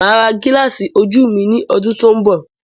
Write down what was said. Máa ra gilasi ojú ní ọdún tó n bọ